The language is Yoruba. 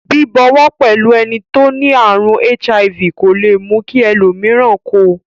Bíbọwọ́ pẹ́lu eni to ni àrùn HIV kò le mú ki ẹlòmíràn ko